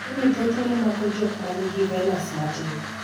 tuoni thothne mako jok man gi venas matin